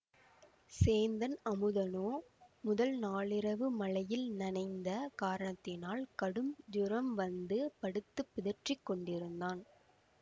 சேந்தன் அமுதனோ முதல் நாளிரவு மழையில் நனைந்த காரணத்தினால் கடும் ஜுரம் வந்து படுத்துப் பிதற்றிக் கொண்டிருந்தான்